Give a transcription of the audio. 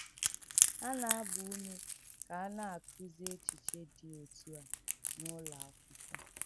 Hà nà-àgbà úmè kà à nà-àkụ́zì èchìchè dị̀ òtú à n’ùlọ̀ àkwụ́kwọ́.